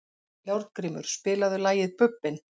Járngrímur, spilaðu lagið „Bubbinn“.